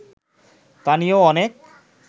তা নিয়েও অনেক